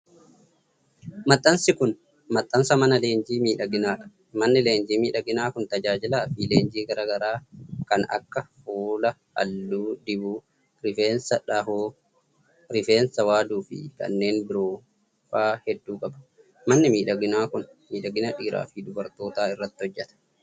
Maxxansi kun, maxxansa mana leenjii miidhaginaa dha. Manni leenjii miidhaginaa kun tajaajila fi leenjii garaa garaa kan akka :fuula halluu dibuu, rifeensa dhahuu, rifeensa waaduu fi kanneen biroo faa hedduu qaba. Manni miidhaginaa kun miidhagina dhiiraa fi dubartootaa irratti hojjata.